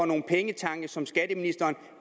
nogen pengetanke som skatteministeren